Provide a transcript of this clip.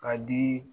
K'a di